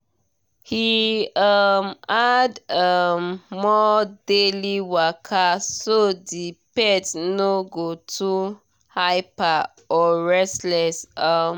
he um add um more daily waka so the pet no go too hyper or restless. um